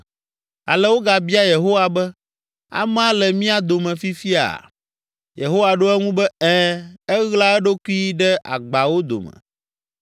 Ale wogabia Yehowa be, “Amea le mía dome fifia?” Yehowa ɖo eŋu be, “Ɛ̃, eɣla eɖokui ɖe agbawo dome.”